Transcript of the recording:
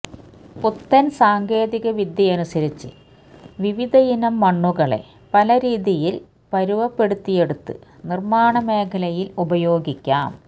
പുത്തന് സാങ്കേതികവിദ്യയനുസരിച്ച് വിവിധയിനം മണ്ണുകളെ പലരീതിയില് പരുവപ്പെടുത്തിയെടുത്ത് നിര്മാണ മേഖലയില് ഉപയോഗിക്കാം